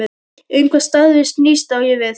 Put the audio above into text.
Um hvað starfið snýst, á ég við